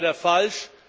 Das ist leider falsch.